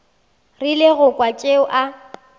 rile go kwa tšeo a